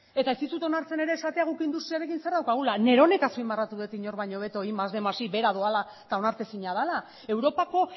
eta ez dizut onartzen ere esatea guk industriarekin zer daukagula neronek azpimarratu dut inor baino hobeago batgarren más bostehun más i behera doala eta onartezina dela europako